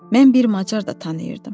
Mən bir macar da tanıyırdım.